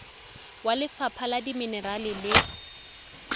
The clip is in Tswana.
wa lefapha la dimenerale le